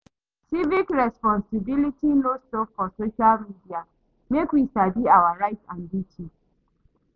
Civic responsibility no stop for social media, make we sabi our rights and duties.